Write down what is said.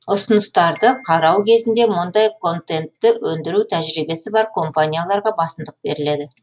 ұсыныстарды қарау кезінде мұндай контентті өндіру тәжірибесі бар компанияларға басымдық беріледі